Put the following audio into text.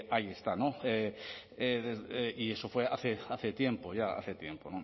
ahí está y eso fue hace tiempo ya hace tiempo